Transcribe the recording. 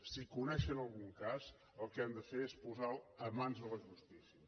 si coneixen algun cas el que han de fer és posar lo a mans de la justícia